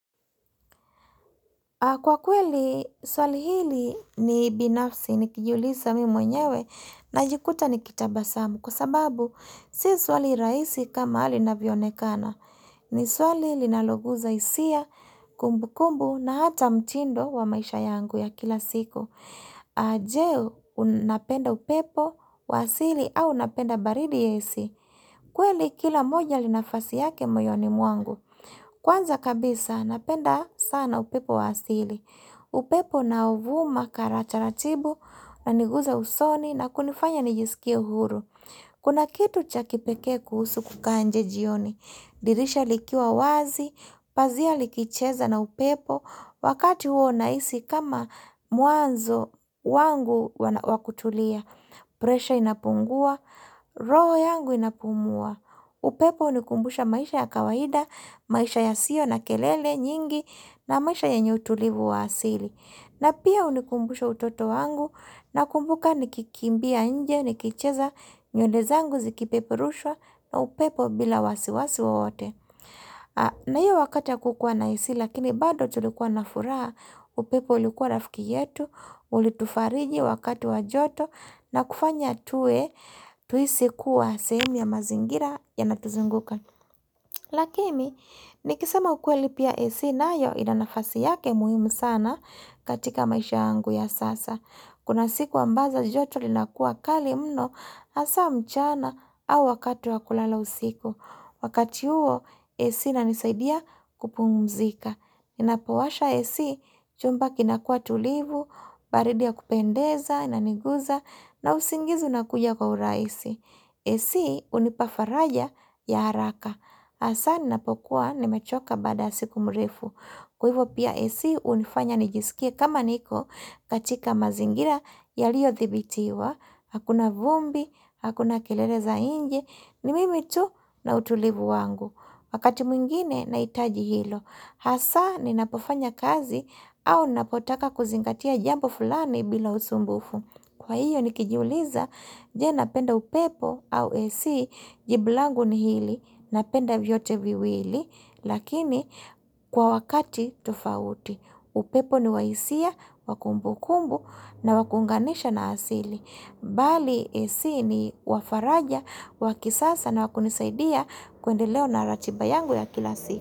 Kwa kweli, swali hili ni binafsi nikijiuliza mimi mwenyewe najikuta nikitabasamu. Kwa sababu, si swali rahisi kama linavyo onekana. Ni swali linaloguza hisia, kumbu kumbu na hata mtindo wa maisha yangu ya kila siku. Je, unapenda upepo wa asili au unapenda baridi ya AC. Kweli kila moja li nafasi yake moyoni mwangu. Kwanza kabisa napenda sana upepo wa asili. Upepo unaovuma kara taratibu unaniguza usoni na kunifanya nijisikie uhuru. Kuna kitu cha kipeke kuhusu kukaa nje jioni. Dirisha likiwa wazi, pazia likicheza na upepo, wakati huo nahisi kama mwanzo wangu wa kutulia. Presha inapungua, roho yangu inapumua. Upepo hunikumbusha maisha ya kawaida, maisha yasiyo na kelele nyingi, na maisha yenye utulivu wa asili. Na pia hunikumbusha utoto wangu, nakumbuka nikikimbia nje, nikicheza nywele zangu zikipeperushwa na upepo bila wasiwasi wowote. Na hiyo wakati hakukua na AC lakini bado tulikuwa na furaha, upepo ulikuwa rafiki yetu, ulitufariji wakati wa joto na kufanya tuwe tuhisi kuwa sehemu ya mazingira yanatuzunguka. Lakini, nikisema ukweli pia AC nayo ina nafasi yake muhimu sana katika maisha yangu ya sasa. Kuna siku ambazo joto linakuwa kali mno hasa mchana au wakatu wa kulala usiku. Wakati huo, AC inanisaidia kupumzika. Napowasha AC, chumba kinakuwa tulivu, baridia kupendeza, inaniguza, na usingizi inakuja kwa urahisi. AC hunipa faraja ya haraka. Hasa ninapokuwa nimechoka baada siku mrefu. Kwa hivo pia AC hunifanya nijisikie kama niko katika mazingira yaliyo thibitiwa. Hakuna vumbi, hakuna kilele za nje, ni mimi tu na utulivu wangu. Wakati mwingine, nahitaji hilo. Hasa, ni napofanya kazi, au napotaka kuzingatia jambo fulani bila usumbufu. Kwa hiyo, nikijiuliza, je napenda upepo au AC, jibu langu ni hili, napenda vyote viwili, lakini kwa wakati tofauti. Upepo ni wa hisia, wa kumbukumbu na wa kuunganisha na asili. Bali AC ni wa faraja, wakisasa na wa kunisaidia kuendelea na ratiba yangu ya kila si.